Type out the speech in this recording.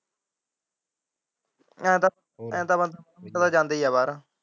ਇਹ ਤਾ ਬੰਦਾ ਜਾਂਦਾ ਹੀ ਹੈ ਬਾਹਰ।